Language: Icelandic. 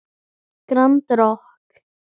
Grand Rokk.